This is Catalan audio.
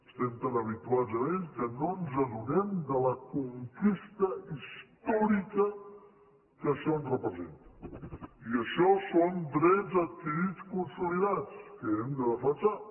estem tan habituats a ell que no ens adonem de la conquesta històrica que això ens representa i això són drets adquirits i consolidats que hem de defensar